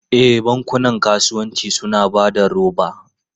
E, bankunan kasuwanci suna ba da roba.